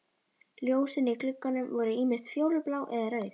Ljósin í gluggunum voru ýmist fjólublá eða rauð.